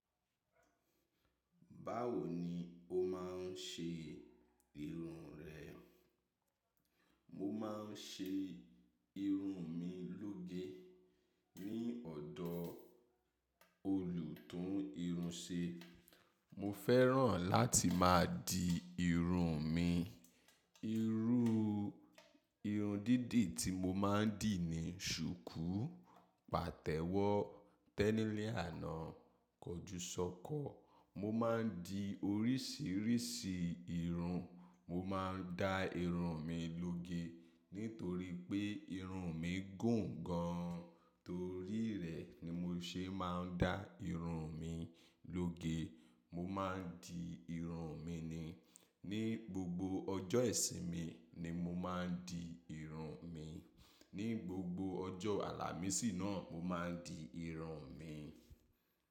Báwo ni o máa ń ṣe irun rẹ? Mo máa ń ṣe irun mi lóge. Ni ọ̀dọ̀ olùtún irun ṣe. Mo fẹ́ràn láti máa di irun mi. Irú irun dídì tí mo máa ń dì ni shuku, pàtẹ́wọ́, tẹ́nílíànà, kọjúsọ́kọ. Mo máa ń di oríṣiríṣi irun. Mo máa ń da irun mi lóge, nítorí pé irun mi gùn gan. Torí rẹ̀ ni mo ṣe máa ń dá irun mi lóge. Mo máa ń di irun mi ni. Ni gbogbo ọjọ́ ìsinmi ni mo máa ń di irun mi. Ni gbogbo ọjọ́ àlàmísì náà, mo máa ń di irun mi.